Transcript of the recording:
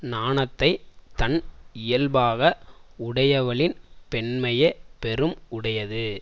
நாணத்தை தன் இயல்பாக உடையவளின் பெண்மையே பெரும் உடையது